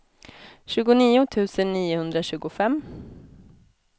tjugonio tusen niohundratjugofem